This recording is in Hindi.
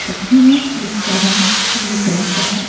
छतरी है जिसका रंग पीले कलर का है।